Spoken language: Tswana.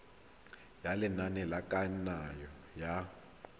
ya lenane la kananyo ya